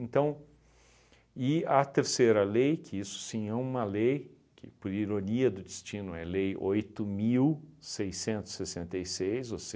e a terceira lei, que isso sim é uma lei, que por ironia do destino é lei oito mil seiscentos e sessenta e seis, ou